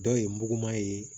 Dɔw ye muguman ye